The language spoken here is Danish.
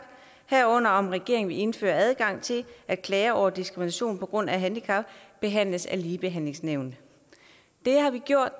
herunder om regeringen vil indføre adgang til at klager over diskrimination på grund af handicap behandles af ligebehandlingsnævnet det har vi gjort